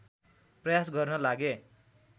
प्रयास गर्न लागे